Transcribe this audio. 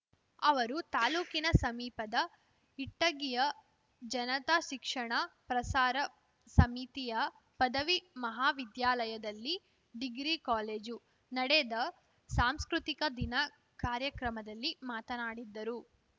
ಅವರು ತಾಲೂಕಿನ ಸಮೀಪದ ಇಟ್ಟಗಿಯ ಜನತಾ ಶಿಕ್ಷಣ ಪ್ರಸಾರ ಸಮಿತಿಯ ಪದವಿ ಮಹಾವಿದ್ಯಾಲಯದಲ್ಲಿ ಡಿಗ್ರಿ ಕಾಲೇಜು ನಡೆದ ಸಾಂಸ್ಕೃತಿಕ ದಿನ ಕಾರ್ಯಕ್ರಮದಲ್ಲಿ ಮಾತನಾಡಿದರು